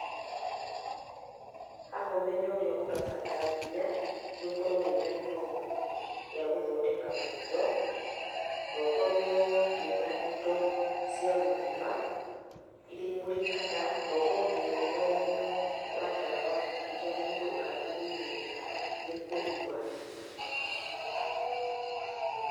Haha ũmenyo ũrĩa ũrabatarania nĩ ũkorwo wĩna gĩthomo gĩa gũthondeka maitho, na ũkorwo wĩna indo cia gũthima iria imurikaga, na ũkorwo nginya wĩna ũmenyo wa ndawa, iria mũndũ agĩrĩirwo nĩ kũnyua.